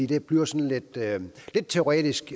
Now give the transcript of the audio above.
det bliver sådan lidt teoretisk